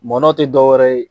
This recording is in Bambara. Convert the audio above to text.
Mɔnɔ te dɔwɛrɛ ye